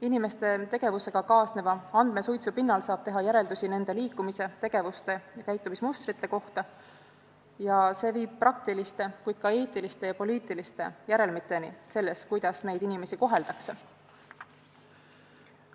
Inimeste tegevusega kaasneva andmesuitsu pinnalt saab teha järeldusi nende liikumise, tegevuste ja käitumismustrite kohta ning see viib praktiliste, kuid ka eetiliste ja poliitiliste järelmiteni, kuidas neid inimesi koheldakse.